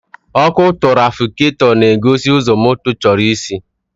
Ọkụ tụrafikatọ na-egosi ụzọ moto chọrọ isi.